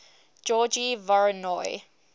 georgy voronoy